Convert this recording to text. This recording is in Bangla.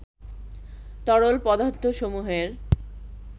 তরল পদার্থসমূহের